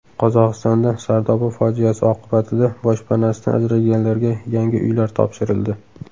Qozog‘istonda Sardoba fojiasi oqibatida boshpanasidan ajralganlarga yangi uylar topshirildi.